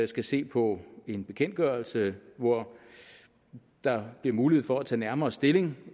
skal se på en bekendtgørelse hvor der bliver muligheder for at tage nærmere stilling